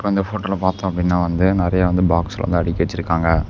இந்த போட்டோல பாத்தோம் அப்டினா வந்து நெறய வந்து பாக்ஸ் வந்து அடுக்கி வெச்சிருக்காங்க.